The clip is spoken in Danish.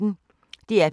DR P1